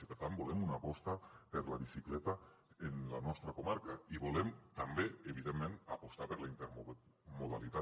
i per tant volem una aposta per la bicicleta en la nostra comarca i volem també evidentment apostar per la intermodalitat